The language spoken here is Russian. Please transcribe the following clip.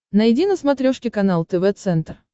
найди на смотрешке канал тв центр